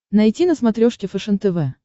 найти на смотрешке фэшен тв